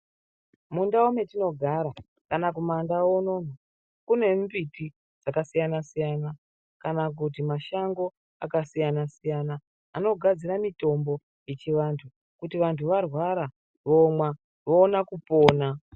Mundau metinogara kana kumaNdau uno uno kune mimbiti dzakasiyana-siyana kana kuti mashango akasiyana-siyana anogadzira mitombo dzechivantu kuti vantu varwara vomwa voona kupona.